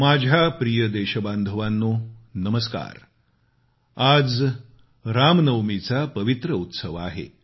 माझ्या प्रिय देशबांधवानो नमस्कार आज रामनवमीचा पवित्र उत्सव आहे